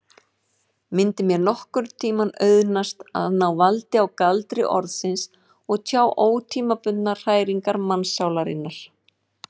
Mundi mér nokkurntíma auðnast að ná valdi á galdri orðsins og tjá ótímabundnar hræringar mannssálarinnar?